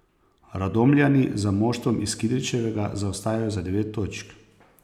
Radomljani za moštvom iz Kidričevega zaostajajo za devet točk.